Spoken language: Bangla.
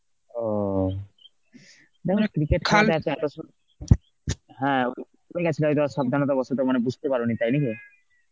ওহ, মানে cricket হ্যাঁ সাবধানে থাকো মানে বুঝতে পারেনি তাই নাকি?